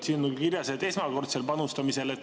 Siin on kirjas, et esmakordsel panustamisel.